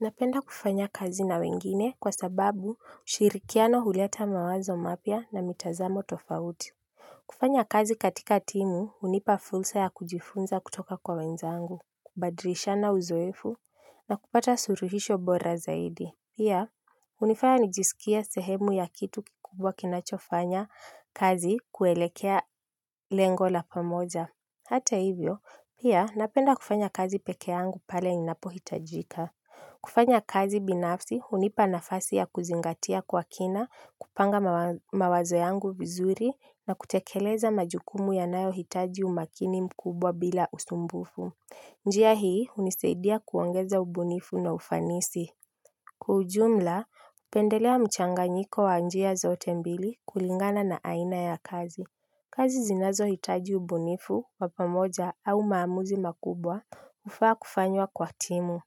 Napenda kufanya kazi na wengine kwa sababu ushirikiano huleta mawazo mapya na mitazamo tofauti. Kufanya kazi katika timu hunipa fursa ya kujifunza kutoka kwa wenzangu, kubadilishana uzoefu na kupata suluhisho bora zaidi. Pia, hunifanya nijisikie sehemu ya kitu kikubwa kinachofanya kazi kuelekea lengo la pamoja. Hata hivyo, pia napenda kufanya kazi peke yangu pale ninapohitajika. Kufanya kazi binafsi hunipa nafasi ya kuzingatia kwa kina, kupanga mawazo yangu vizuri na kutekeleza majukumu yanayohitaji umakini mkubwa bila usumbufu. Njia hii hunisaidia kuongeza ubunifu na ufanisi. Kwa ujumla, hupendelea mchanganyiko wa njia zote mbili kulingana na aina ya kazi. Kazi zinazohitaji ubunifu wa pamoja au maamuzi makubwa hufaa kufanywa kwa timu.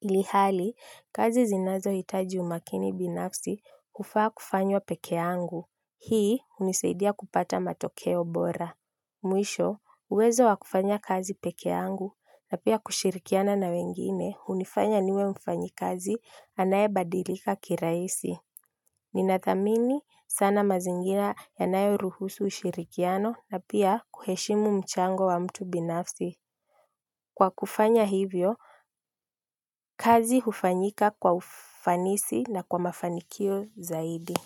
Ilhali, kazi zinazohitaji umakini binafsi hufaa kufanywa peke yangu. Hii hunisaidia kupata matokeo bora. Mwisho, uwezo wa kufanya kazi peke yangu na pia kushirikiana na wengine hunifanya niwe mfanyakazi anayebadilika kirahisi. Ninathamini sana mazingira yanayoruhusu ushirikiano na pia kuheshimu mchango wa mtu binafsi. Kwa kufanya hivyo, kazi hufanyika kwa ufanisi na kwa mafanikio zaidi.